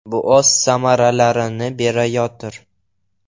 Bu o‘z samaralarini berayotir.